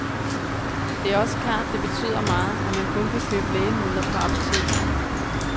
Det er også klart, det betyder meget, at man kun kan købe lægemidler på apotekerne.